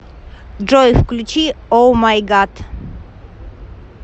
джой включи оумайгад